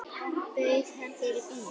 Bauð hann þér í bíó?